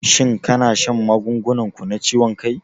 Shin kana shan magungunan ku na ciwon ciki?